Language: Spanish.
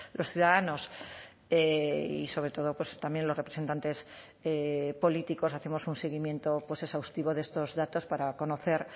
los ciudadanos y sobre todo pues también los representantes políticos hacemos un seguimiento pues exhaustivo de estos datos para conocer